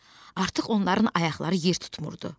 Artıq onların ayaqları yer tutmurdu.